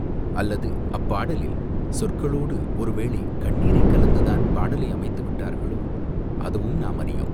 அல்லது அப்பாடலில் சொற்களோடு ஒருவேளை கண்ணீரைக் கலந்து தான் பாடலை அமைத்து விட்டார்களோ, அதுவும் நாம் அறியோம்.